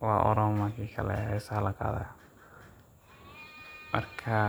wa Oromo kikale heesaha laqadayo marka